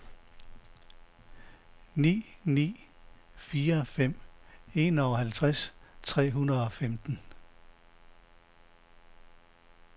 ni ni fire fem enoghalvtreds tre hundrede og femten